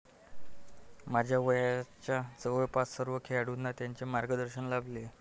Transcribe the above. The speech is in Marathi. माझ्या वयाच्या जवळपास सर्व खेळाडूंना त्यांचे मार्गदर्शन लाभले.